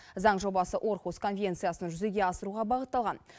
заң жобасы орхус конвенциясын жүзеге асыруға бағытталған